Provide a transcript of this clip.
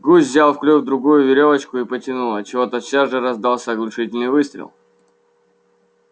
гусь взял в клюв другую верёвочку и потянул отчего тотчас же раздался оглушительный выстрел